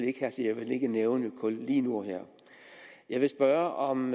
ikke have så jeg vil ikke nævne ordet kul lige nu og her jeg vil spørge om